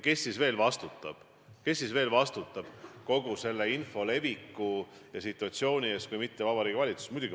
Ja kes siis veel vastutab selle info leviku ja kogu situatsiooni eest kui mitte Vabariigi Valitsus?